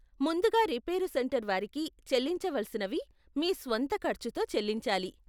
ముందుగా repair centre వారికి చెల్లించవలసినవి మీ స్వంత ఖర్చుతో చెల్లించాలి.